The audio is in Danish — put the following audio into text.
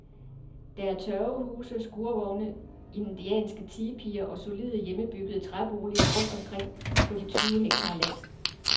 Der er tørvehuse, skurvogne, indianske tipier og solide, hjemmebyggede træboliger rundt omkring på de tyve hektar land.